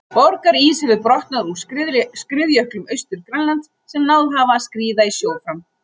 Borgarís hefur brotnað úr skriðjöklum Austur-Grænlands sem náð hafa að skríða í sjó fram.